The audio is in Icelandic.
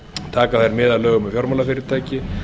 taka þær mið af lögum um fjármálafyrirtæki